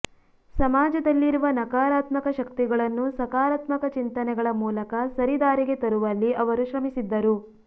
ಸಮಾಜದಲ್ಲಿರುವ ನಕಾರಾತ್ಮಕ ಶಕ್ತಿಗಳನ್ನು ಸಕಾರಾತ್ಮಕ ಚಿಂತನೆಗಳ ಮೂಲಕ ಸರಿದಾರಿಗೆ ತರುವಲ್ಲಿ ಅವರು ಶ್ರಮಿಸಿದ್ದರು